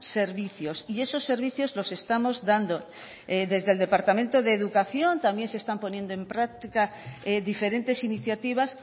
servicios y esos servicios los estamos dando desde el departamento de educación también se están poniendo en práctica diferentes iniciativas